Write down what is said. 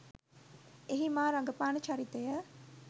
එහි මා රඟපාන චරිතය